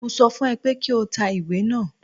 Mo sọ fún ẹ pé kí o ta ìwé náà.